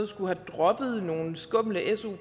skulle have droppet nogle su